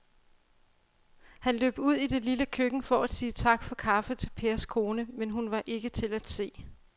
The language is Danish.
Han løb ud i det lille køkken for at sige tak for kaffe til Pers kone, men hun var ikke til at se.